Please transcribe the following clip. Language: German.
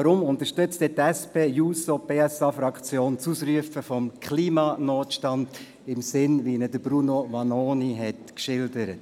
Warum unterstützt die SP-JUSO-PSA-Fraktion die Ausrufung des Klimanotstands in dem Sinne, wie es Bruno Vanoni geschildert